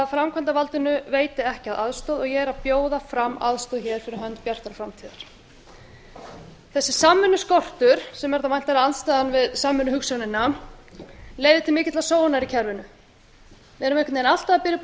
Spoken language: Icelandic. framkvæmdarvaldinu veiti ekki af aðstoð og ég er að bjóða fram aðstoð hér fyrir hönd bjartrar framtíðar þessi samvinnuskortur sem er þá væntanlega andstaðan við samvinnuhugsjónina leiðir til mikillar sóunar í kerfinu við erum einhvern veginn alltaf að byrja upp á